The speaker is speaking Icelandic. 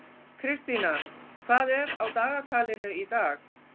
Kristína, hvað er á dagatalinu í dag?